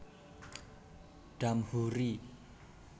Damhoeri